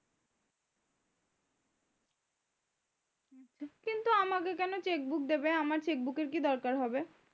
কেন দেবে আমার এর কি দরকার হবে?